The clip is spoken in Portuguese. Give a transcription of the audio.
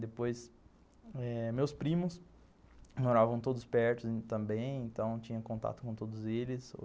Depois eh, meus primos moravam todos perto também, então tinha contato com todos eles.